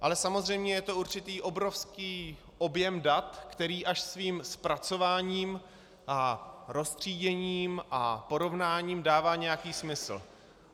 Ale samozřejmě je to určitý obrovský objem dat, který až svým zpracováním a roztříděním a porovnáním dává nějaký smysl.